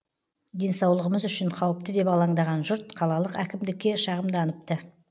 денсаулығымыз үшін қауіпті деп алаңдаған жұрт қалалық әкімдікке шағымданыпты